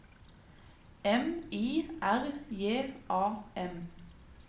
M I R J A M